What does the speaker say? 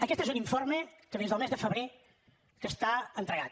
aquest és un informe que des del mes de febrer està entregat